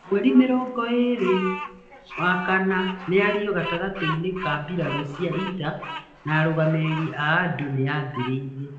Mweri mĩrongo ĩĩrĩ wa kana mĩario gatagatĩ-inĩ ka mbirarū cia ita na arũgamĩrĩri a andũ nĩ yambĩrĩirie.